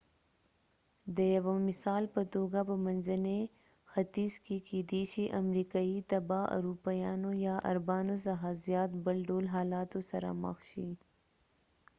د یوه مثال په توګه په منځني ختیځ کې کېدې شي امریکايي تبعه اروپایانو یا عربانو څخه زیات بل ډول حالاتو سره مخ شي